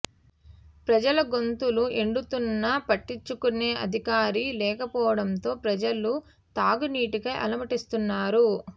ప్రజల గొంతులు ఎండుతున్నా పట్టించు కునే అధికారి లేకపోవడంతో ప్రజలు త్రాగునీటికై అలమటిస్తున్నారు